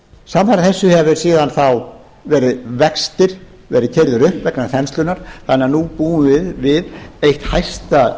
samfara þessu hafa síðan þá vextir verið keyrðir upp vegna þenslunnar þannig að nú búum við við eitt hæsta